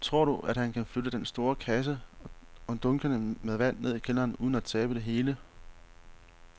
Tror du, at han kan flytte den store kasse og dunkene med vand ned i kælderen uden at tabe det hele?